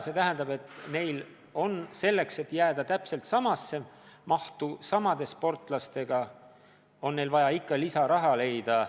See tähendab, et neil on selleks, et jääda täpselt samasse mahtu samade sportlastega, vaja lisaraha leida.